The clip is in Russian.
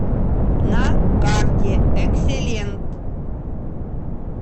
на карте экселент